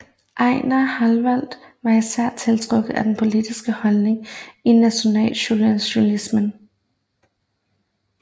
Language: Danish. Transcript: Ejnar Howalt var især tiltrukket af de politiske holdninger i nationalsocialismen